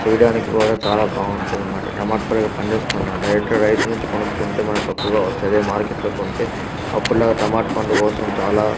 చేయడానికి కూడా చాలా బాగుంటుంది అన్నమాట టమాటా కూడా పండిస్తున్నాడు డైరెక్ట్ రైతే నుంచి కొనుకుంటే మనకు తకువగా వాస్తది అదే మార్కెట్ లో కొంటె అప్పుడు లా టమాటా పండు కోసం చాలా.